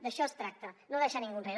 d’això es tracta de no deixar ningú enrere